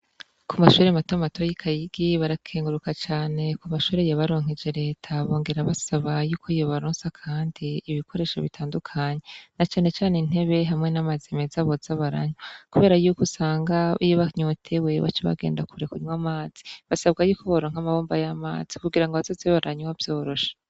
Ku mashure matama matoyi kayigi barakenguruka cane ku mashure yabaronkeje leta bongera basaba yuko iyebaronsa, kandi ibikoresho bitandukanyi na canecane intebe hamwe n'amaze meza boza baranywa, kubera yuko usanga iyo banyote wewe c' bagenda kure kunywa amazi basabwa yuko baorank'amabomba y'amazi kugira ngo abazozebe baranywa vyorosha.